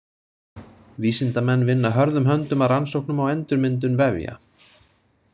Vísindamenn vinna hörðum höndum að rannsóknum á endurmyndun vefja.